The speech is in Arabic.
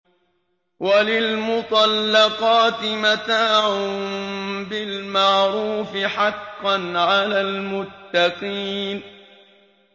وَلِلْمُطَلَّقَاتِ مَتَاعٌ بِالْمَعْرُوفِ ۖ حَقًّا عَلَى الْمُتَّقِينَ